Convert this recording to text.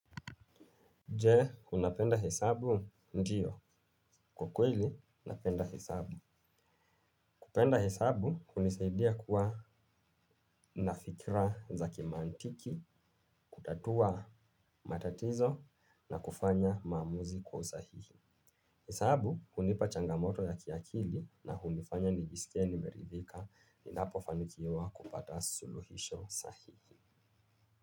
Je, unapenda hesabu? Ndiyo. Kwa kweli, napenda hesabu. Kupenda hesabu, hunisaidia kuwa na fikra za kimantiki, kutatua matatizo na kufanya maamuzi kwa usahihi. Hesabu, hunipa changamoto ya kiakili na hunifanya nijisikie nimeridhika ninapofanikiwa kupata suluhisho sahihi.